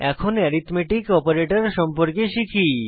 এখন arithmetic operator সম্পর্কে শিখি